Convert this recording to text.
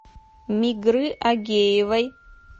мигры агеевой